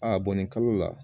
A bɔn nin kalo la